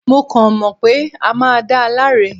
Mo kàn mọ̀ pé a máa da láre